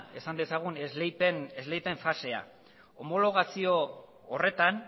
esan dezagun esleipen fasea homologazio horretan